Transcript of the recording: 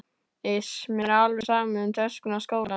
Iss, mér er alveg sama um töskuna og skólann